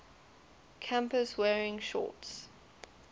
campus wearing shorts